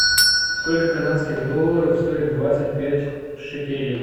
сколько канадских долларов стоит двадцать пять шекелей